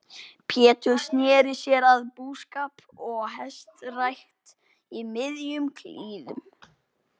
Pétur sneri sér að búskap og hestarækt í miðjum klíðum.